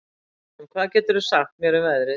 Tímon, hvað geturðu sagt mér um veðrið?